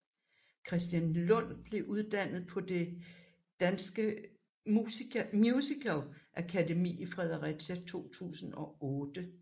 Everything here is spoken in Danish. Christian Lund blev uddannet fra Det Danske Musicalakademi i Fredericia i 2008